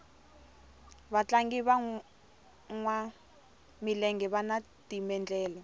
vatlangi vanwa milenge vani timendlele